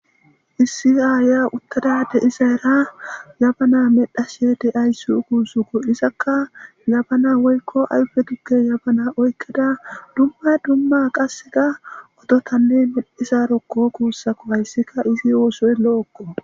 Issi aaya uttadade isa era yabana medhashe deaysi kuusuko izakka yabana woykko ayfe dugge yabana oykkeda dumma dumma qasseka ototanne medhisarokko kuussako hayssikka izi oosoy lo7okko.